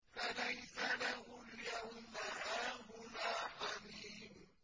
فَلَيْسَ لَهُ الْيَوْمَ هَاهُنَا حَمِيمٌ